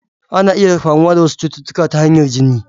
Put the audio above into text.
Ana iya kamuwa da wasu cututtuka ta hanyar jini.